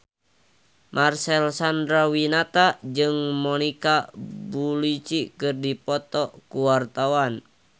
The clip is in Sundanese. Marcel Chandrawinata jeung Monica Belluci keur dipoto ku wartawan